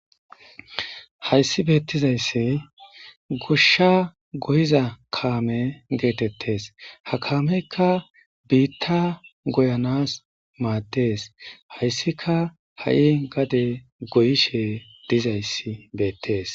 Hayssi beettizayssi goshsha goyiza kaame geetetees; ha kaameykka biitta goyanas maades; hayssika ha'i gade goyishe dizayssi beetees.